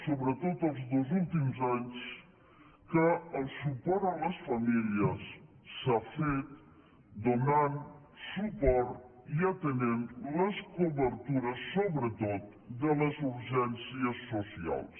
sobretot els dos últims anys que el suport a les famílies s’ha fet donant suport i atenent les cobertures sobretot de les urgències socials